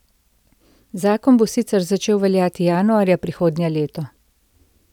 Zakon bo sicer začel veljati januarja prihodnje leto.